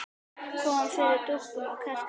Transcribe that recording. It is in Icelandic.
Kom fyrir dúkum og kertum.